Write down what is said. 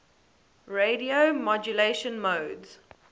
radio modulation modes